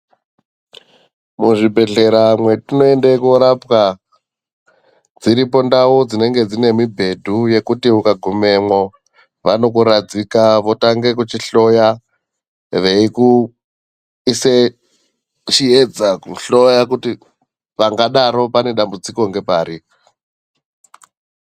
Muzvibhedhlera mwatinoende korapwa, dziripo ndau dzinenge dzine mibhedhu yekuti ukagumemwo, vanokuradzika votange kuchihloya, veikuise chiedza kuhloya kuti pangadaro pane dambudziko ngepari.